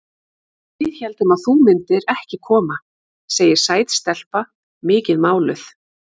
Við héldum að þú myndir ekki koma, segir sæt stelpa, mikið máluð.